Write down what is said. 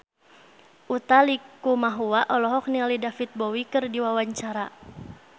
Utha Likumahua olohok ningali David Bowie keur diwawancara